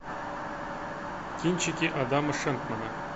кинчики адама шенкмана